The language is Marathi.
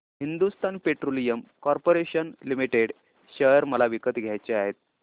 Hindustan petroleum corporation limited share मला विकत घ्यायचे आहेत